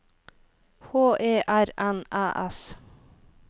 H E R N Æ S